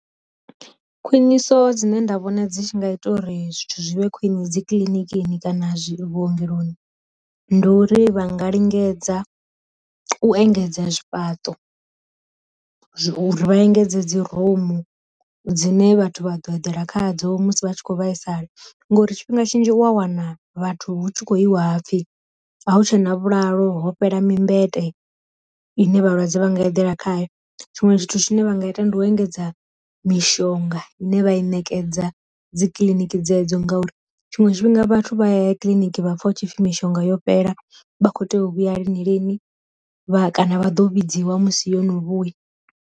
Khwiniso dzine nda vhona dzi tshi nga ita uri zwithu zwivhe khwine dzi kiḽinikini kana zwi vhuongeloni, ndi uri vha nga lingedza u engedza zwi fhaṱo, zwi u ri vha engedze dzi rumu dzine vhathu vha ḓo eḓela kha dzo musi vha tshi kho vhaisala ngori tshifhinga tshinzhi u a wana vhathu hu tshi khou i wa hapfi a hu tshena vhulalo ho fhela mi mbete ine vhalwadze vha nga eḓela khayo, tshiṅwe zwithu tshine vha nga ita ndi u engedza mishonga ine vha i ṋekedza dzi kiḽiniki dzedzo ngauri, tshiṅwe tshifhinga vhathu vha ya kiḽiniki vhapfa hu tshipfi mishonga yo fhela vha kho tea u vhuya lini lini vha kana vha ḓo vhidziwa musi yo no vhuya.